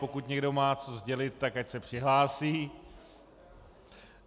Pokud někdo má co sdělit, tak ať se přihlásí.